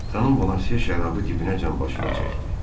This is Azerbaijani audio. Xanım Bonaşe şərabı dibinəcən başına çəkdi.